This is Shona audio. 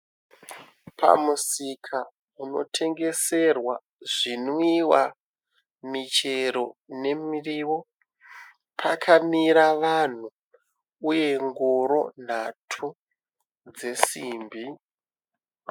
Pamusika unotengeserwa zvinwiwa, michero nemiriwo pakamira vanhu uye ngoro nhatu dzesimbi.